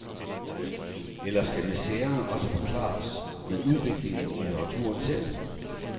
Eller skal miseren også forklares med udviklinger i litteraturen selv?